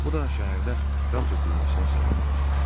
Bu da şəhərdə qan tökülməsinə səbəb olacaq.